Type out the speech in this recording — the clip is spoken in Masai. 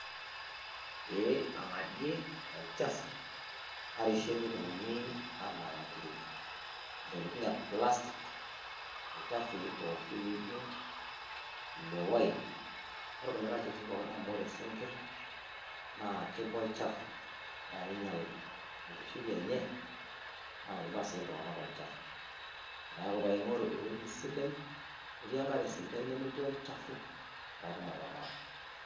ee angadiee olchafu arishiee mitoki anang'aki ntoiting e plastic ilchafui pookin lijo le oil olkulikai chafui laijio sinkir naa kibaa olchafu paakinyaal enkishui enye naa kibaa sii iltunganak olchafu neaku paingoru ewueji sidai netii enkare sidai nemetii olchafu patuum ataramata